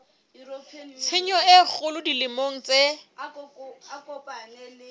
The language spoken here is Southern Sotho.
tshenyo e kgolo dimeleng tse